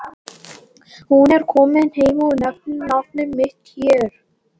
Hún er komin heim og nefnir nafnið mitt hér.